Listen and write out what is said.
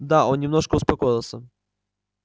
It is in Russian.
да он немножко успокоился